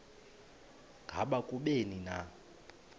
ngaba kubleni na